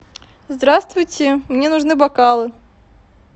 здравствуйте мне нужны бокалы